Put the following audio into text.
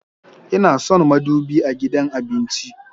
Ina son madubi a gidan abinci